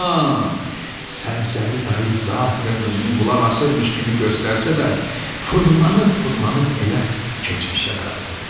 Amma Səbzəli dayı zahirən özünü qulaq asırmış kimi göstərsə də, fırlanıb-fırlanıb elə keçmişə qayıdırdı.